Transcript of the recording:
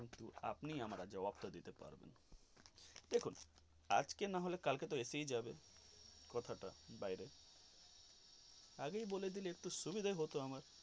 কিন্তু আপনি আমার জবাব দিতে পারবেন দেখুন আজকে না হলে কাজকে আসায় যাবে কথাটা বাইরে আগেই বলে দিলে সুবিধে হতো আমার.